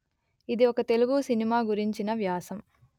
ఇది ఒక తెలుగు సినిమా గురించిన వ్యాసం